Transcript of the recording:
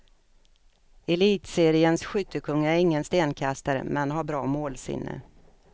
Elitseriens skyttekung är ingen stenkastare men har bra målsinne.